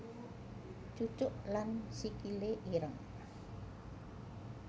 Cucuk lan Sikile ireng